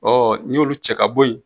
n'i y'olu cɛ ka bɔ ye.